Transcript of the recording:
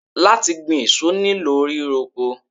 Láti gbin èso nílò ríro oko.